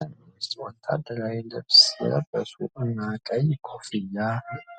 በደን ውስጥ፣ ወታደራዊ ልብስ የለበሱ እና ቀይ ኮፍያ